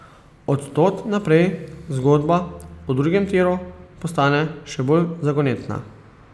Od tod naprej zgodba o drugem tiru postane še bolj zagonetna.